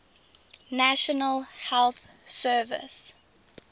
national health service